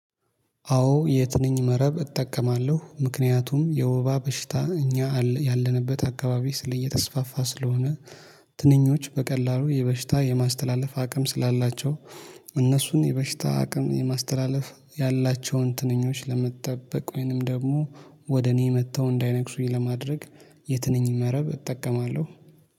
አዎ የትንኝ መረብ እጠቀማለሁ ምክንያቱም የወባ በሽታ እኛ ያለንበት አካባቢ እየተስፋፋ ስለሆነ። ትንኞች በቀላሉ የበሽታ የማስተላለፍ አቅም ስላላቸው። እነሱን የበሽታ አቅም የማስተላለፍ ያላቸውን ትንኞች ለመጠበቅ ወይንም ደግሞ ወደ እኔ መጥተው እንዳይነክሱኝ ለማድረግ። የትነኝ መረብ እጠቀማለሁ